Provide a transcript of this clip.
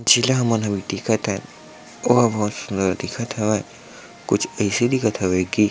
मन ह दिखत हन दिखत हावय कुछ एसे दिखत हवय की--